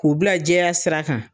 K'u bila jɛya sira kan